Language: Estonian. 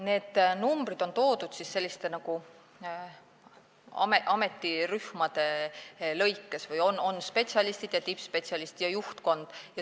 Need numbrid on toodud nagu ametirühmade kaupa, on spetsialistid, tippspetsialistid ja juhtkond.